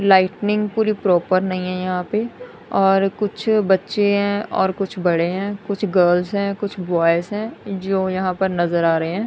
Lightning पूरी proper नहीं है यहां पें और कुछ बच्चे हैं और कुछ बड़े हैं कुछ गर्ल्स हैं कुछ बॉयज हैं जो यहां पर नजर आ रहे हैं।